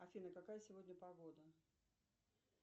афина какая сегодня погода